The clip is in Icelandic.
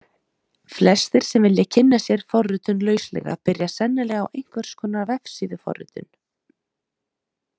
Flestir sem vilja kynna sér forritun lauslega byrja sennilega á einhvers konar vefsíðuforritun.